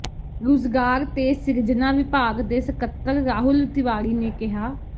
ਰੁਜ਼ਗਾਰ ਤੇ ਸਿਰਜਣਾ ਵਿਭਾਗ ਦੇ ਸਕੱਤਰ ਰਾਹੁਲ ਤਿਵਾੜੀ ਨੇ ਕਿਹਾ